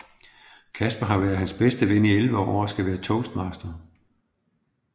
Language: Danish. Casper har været hans bedste ven i 11 år og skal være toastmaster